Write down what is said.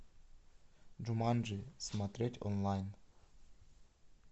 джуманджи смотреть онлайн